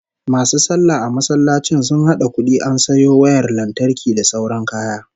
MAsu sallah a masallacin sun hada kudi an sayo wayar lantarki da sauran kaya